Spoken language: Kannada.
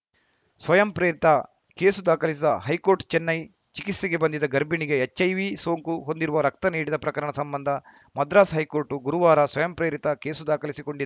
ಸ್ವಯಂಪ್ರೇರಿತ ಕೇಸು ದಾಖಲಿಸಿದ ಹೈಕೋರ್ಟ್‌ ಚೆನ್ನೈ ಚಿಕಿತ್ಸೆಗೆ ಬಂದಿದ್ದ ಗರ್ಭಿಣಿಗೆ ಎಚ್‌ಐವಿ ಸೋಂಕು ಹೊಂದಿರುವ ರಕ್ತ ನೀಡಿದ ಪ್ರಕರಣ ಸಂಬಂಧ ಮದ್ರಾಸ್‌ ಹೈಕೋರ್ಟ್‌ ಗುರುವಾರ ಸ್ವಯಂಪ್ರೇರಿತ ಕೇಸು ದಾಖಲಿಸಿಕೊಂಡಿ